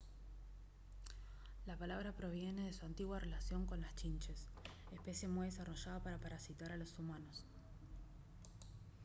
la palabra proviene de su antigua relación con las chinches especie muy desarrollada para parasitar a los humanos